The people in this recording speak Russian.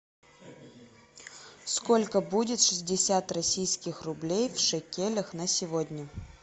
сколько будет шестьдесят российских рублей в шекелях на сегодня